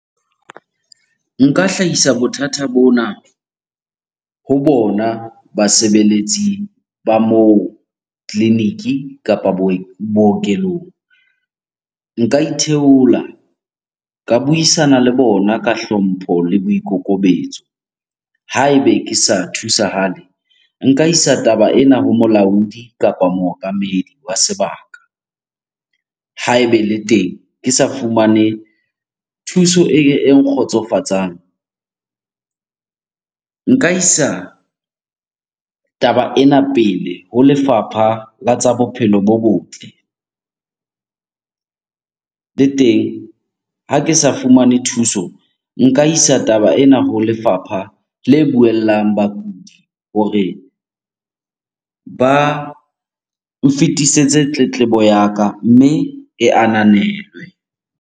Nka hlahisa bothata bona ho bona basebeletsi ba moo tleliniki kapa bookelong. Nka itheola ka buisana le bona ka hlompho le boikokobetso. Ha ebe ke sa thusahale, nka isa taba ena ho molaodi kapa mookamedi wa sebaka. Ha ebe le teng ke sa fumane thuso e nkgotsofatsang, nka isa taba ena pele ho lefapha la tsa bophelo bo botle. Le teng ha ke sa fumane thuso, nka isa taba ena ho lefapha le buellang bakudi hore ba nfetisetse tletlebo ya ka mme e ananelwe.